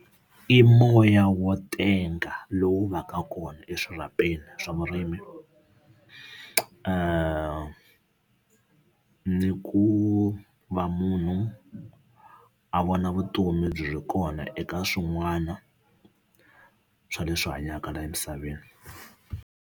I moya wo tenga lowu va ka kona eswirhapeni swa vurimi ni ku va munhu a vona vutomi byi ri kona eka swin'wana swa leswi hanyaka laha emisaveni.